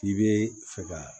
K'i bɛ fɛ ka